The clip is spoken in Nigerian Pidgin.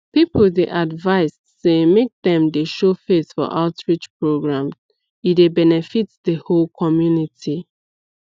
people dey advised say make dem dey show face for outreach program e dey benefit the whole community